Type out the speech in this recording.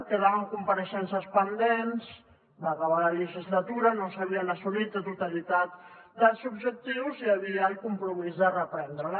quedaven compareixences pendents va acabar la legislatura no s’havien assolit la totalitat dels objectius i hi havia el compromís de reprendre la